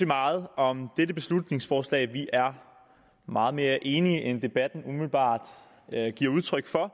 meget om dette beslutningsforslag vi er meget mere enige end debatten umiddelbart giver udtryk for